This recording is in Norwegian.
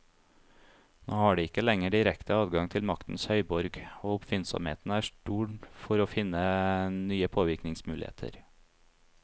Nå har de ikke lenger direkte adgang til maktens høyborg, og oppfinnsomheten er stor for å finne nye påvirkningsmuligheter.